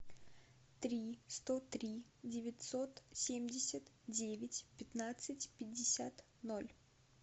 три сто три девятьсот семьдесят девять пятнадцать пятьдесят ноль